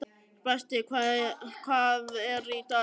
Brestir, hvað er í dagatalinu í dag?